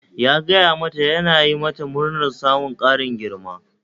Ya gaya ma ta yana yi mata murnar samun ƙarin girma